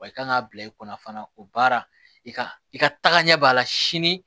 Wa i kan k'a bila i kunna fana o baara i ka i ka tagaɲɛ b'a la sini